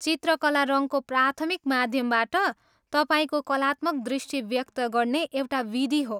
चित्रकला रङको प्राथमिक माध्यमबाट तपाईँको कलात्मक दृष्टि व्यक्त गर्ने एउटा विधि हो।